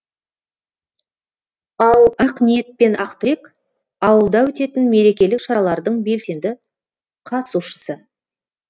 ал ақниет пен ақтілек ауылда өтетін мерекелік шаралардың белсенді қатысушысы